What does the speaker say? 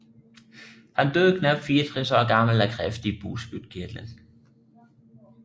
Han døde knap 64 år gammel af kræft i bugspytkirtlen